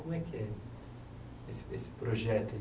Como é que é esse esse projeto?